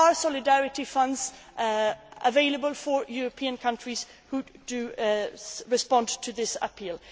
to do this. There are solidarity funds available for European countries who respond to this